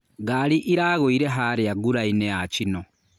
Ngari ĩragũire harĩa ngurainĩ ya chino.